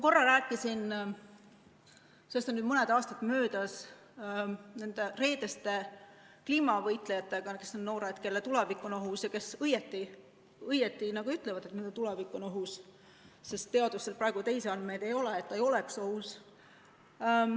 Korra ma rääkisin – sellest on nüüd mõni aasta möödas – nende reedeste kliimavõitlejatega, kes on need noored, kelle tulevik on ohus ja kes õigesti ütlevad, et minu tulevik on ohus, sest teadusel praegu teisi andmeid ei ole, et tulevik ei ole ohus.